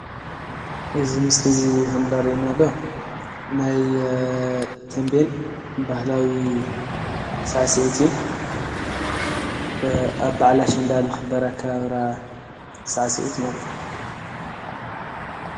እዚ ምስሊ ኸምሪአይናሎ ናይ ተምቤን ባህላዊ ስዕሲዒት እዩ። ኣብ በዓል ኣሸንዳ ዝኽበር ኣከባብራ ሳዕሲዒት ማለት እዩ።